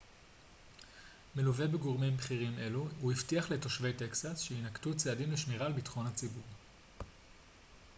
מלווה בגורמים בכירים אלו הוא הבטיח לתושבי טקסס שיינקטו צעדים לשמירה על ביטחון הציבור